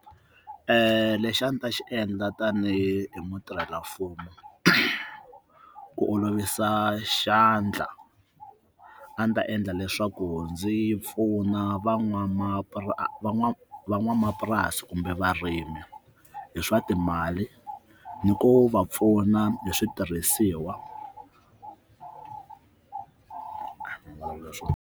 Lexi a ndzi ta xi endla tanihi mutirhelamfumo ku olovisa xandla a ndzi ta endla leswaku ndzi pfuna van'wamapu van'wamapurasi kumbe varimi hi swa timali ni ku va pfuna hi switirhisiwa.